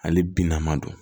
Ale bina ma don